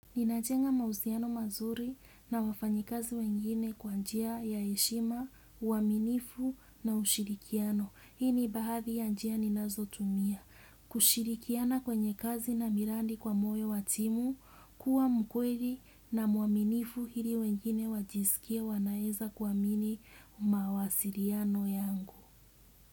Ninajenga mahusiano mazuri na wafanyikazi wengine kwa njia ya heshima, uaminifu na ushirikiano. Hii ni baadhi ya njia ninazotumia. Kushirikiana kwenye kazi na miradi kwa moyo wa timu, kuwa mkweli na mwaminifu ili wengine wajisikie wanaweza kuamini mawasiliano yangu.